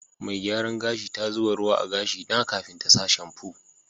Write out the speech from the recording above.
Mai gyaran gashi ta zuba ruwa a'gashi na kafin ta sa shamfu.